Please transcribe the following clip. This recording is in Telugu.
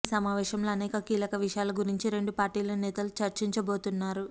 ఈ సమావేశంలో అనేక కీలక విషయాల గురించి రెండు పార్టీల నేతలు చర్చించబోతున్నారు